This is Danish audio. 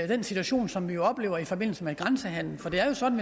den situation som vi jo oplever i forbindelse med grænsehandelen for det er jo sådan